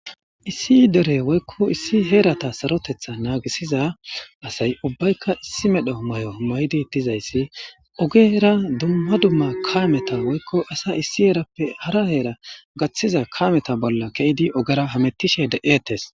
Issi dere woykko issi heerata sarotetha naagisiza asay ubbayka issi medho mayo maydi dizayssi ogera dumma dumma kaameta woykko asa issi heerappe hara heera gaththiza kameta bolla keidi ogera hamettishe de'eettes.